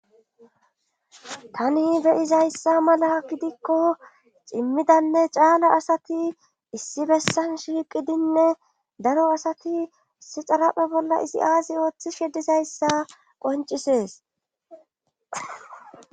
tani beyizayssa mala gidikko cimmidanne caala asati issi bessan shiiqidinne daro asati issi xaraphe bolla isi aazi ooththishi dizayssa qoncisees